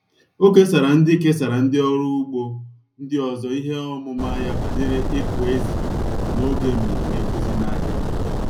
Ọ kesara ndị kesara ndị ọrụ ugbo ndị ọzọ ihe ọmụma ya banyere ịkụ ezì n'oge mmemme nkuzi n'ahịa.